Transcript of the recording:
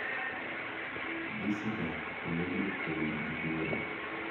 Gisedak e lob no kuom ndalo buora.